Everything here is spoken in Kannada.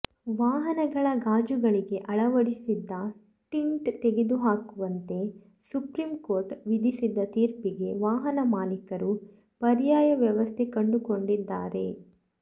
ವಾಹನಗಳ ಗಾಜುಗಳಿಗೆ ಅಳವಡಿಸಿದ್ದ ಟಿಂಟ್ ತೆಗೆದುಹಾಕುವಂತೆ ಸುಪ್ರೀಂ ಕೋರ್ಟ್ ವಿಧಿಸಿದ್ದ ತೀರ್ಪಿಗೆ ವಾಹನ ಮಾಲೀಕರು ಪರ್ಯಾಯ ವ್ಯವಸ್ಥೆ ಕಂಡುಕೊಂಡಿದ್ದಾರೆ